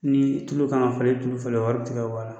Nii tulu ka ŋa falen tulu falen wari te ka bɔ a la